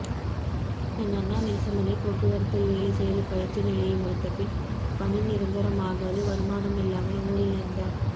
என் அண்ணா நேசமணி போக்குவரத்தில் வேலை செய்து பயிற்சி நிலையை முடித்தபின் பணிநிரந்தரமாகாது வருமானம் இல்லாமல் ஊரில் இருந்தார்